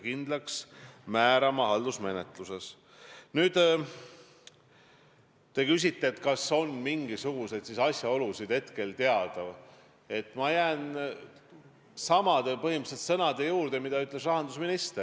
Punkt kaks, ma ütlen seda, et ei, Jüri Ratase personaalküsimus küll ei ole see kõige peamine, aga see on ju täielik rünnak või siis põhjendatud rünnak, kui need andmed on olemas, Eesti riigi peaministri kui institutsiooni pihta ja loomulikult ka isiklikult minu pihta.